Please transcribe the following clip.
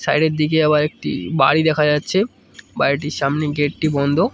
সাইডের দিকে আবার একটি বাড়ি দেখা যাচ্ছে বাড়িটির সামনে গেটটি বন্ধ।